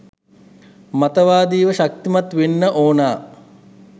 මතවාදීව ශක්තිමත් වෙන්න ඕන.